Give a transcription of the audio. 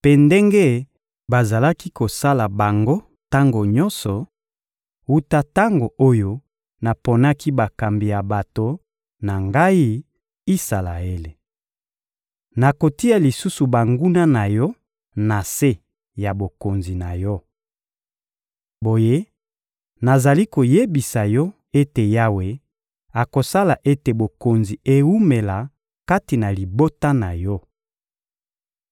mpe ndenge bazalaki kosala bango tango nyonso wuta tango oyo naponaki bakambi ya bato na Ngai, Isalaele. Nakotia lisusu banguna na yo na se ya bokonzi na yo. Boye, nazali koyebisa yo ete Yawe akosala ete bokonzi ewumela kati na libota na yo.